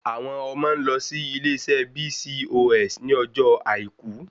Àwọn ọmọ ń lọ sí ilé iṣé BCOS ní ọjọ́ àìkú